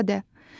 Çox sadə.